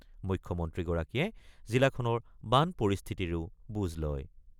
মুখ্যমন্ত্ৰীগৰাকীয়ে জিলাখনৰ বান পৰিস্থিতিৰো বুজ লয়।